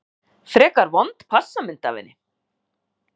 Frekar vond passamynd af henni.